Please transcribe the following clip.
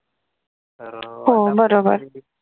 हो बरोबर